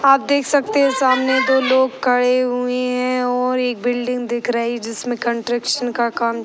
आप देख सकते है सामने दो लोग खड़े हुए है और एक बिल्डिंग दिख रही जिसमे कंट्रक्शन का काम --